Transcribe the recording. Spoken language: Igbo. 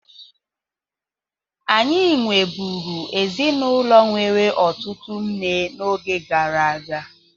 Anyị nweburu ezinụlọ nwere ụtụtụ nne n'oge gara aga.